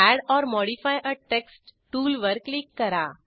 add or modify a text टूलवर click करा